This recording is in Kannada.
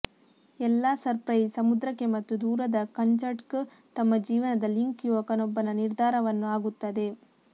ಎಲ್ಲಾ ಸರ್ಪ್ರೈಸ್ ಸಮುದ್ರಕ್ಕೆ ಮತ್ತು ದೂರದ ಕಂಚಟ್ಕ್ ತಮ್ಮ ಜೀವನದ ಲಿಂಕ್ ಯುವಕನೊಬ್ಬನ ನಿರ್ಧಾರವನ್ನು ಆಗುತ್ತದೆ